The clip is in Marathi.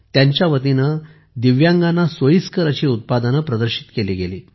त्यांच्या वतीने दिव्यांगांना सोयीस्कर अशा उत्पादने प्रदर्शित केली गेली